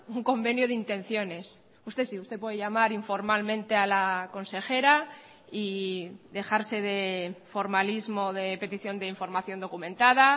un convenio de intenciones usted sí usted puede llamar informalmente a la consejera y dejarse de formalismo de petición de información documentada